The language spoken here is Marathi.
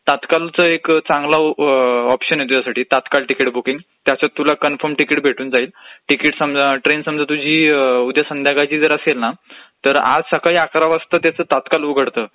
तातकाळचं एक चांगलं ऑप्शन आहे तुझ्यासाठी, तात्काळ तिकीट बुकींग. त्याच तुला कन्फर्म तिकीट भेटून जाईल. तिकीट समजा...ट्रेन समजा तुझी उद्या संध्याकाळची असेल ना तर आज सकाळी अकरा वाजता तात्काळ उघडतं.